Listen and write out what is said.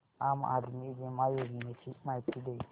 आम आदमी बिमा योजने ची माहिती दे